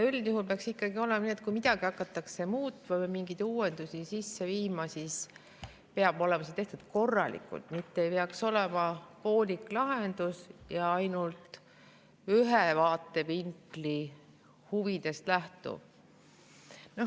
Üldjuhul peaks ikkagi olema nii, et kui midagi hakatakse muutma või mingeid uuendusi sisse viima, siis peab see olema tehtud korralikult, mitte ei peaks olema poolik lahendus ja ainult ühe vaatevinkli huvidest lähtuv.